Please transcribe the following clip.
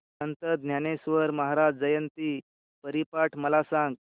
संत ज्ञानेश्वर महाराज जयंती हरिपाठ मला सांग